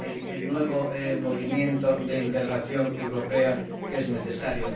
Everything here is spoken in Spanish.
el nuevo movimiento de integración europea que es necesario.